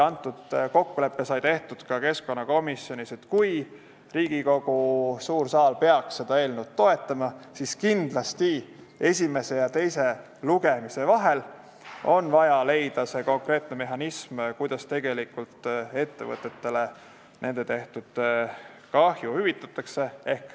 See kokkulepe sai tehtud ka keskkonnakomisjonis, et kui Riigikogu suur saal peaks seda eelnõu toetama, siis kindlasti esimese ja teise lugemise vahel on vaja leida see konkreetne mehhanism, kuidas ettevõtetele tekkinud kahju hüvitatakse.